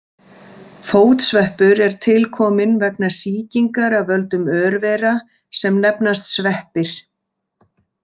Fótsveppur er tilkominn vegna sýkingar af völdum örvera sem nefnast sveppir.